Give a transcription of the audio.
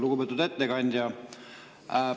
Lugupeetud ettekandja!